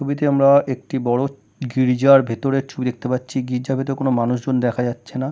ছবিতে আমরা একটি বড়ো গির্জার ভেতরের ছবি দেখতে পাচ্ছি গির্জার ভিতর কোনো মানুষজন দেখা যাচ্ছেনা।